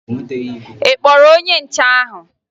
Ị kpọrọ onye nche ahụ?